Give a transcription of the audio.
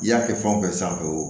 I y'a kɛ fɛn o fɛn sanfɛ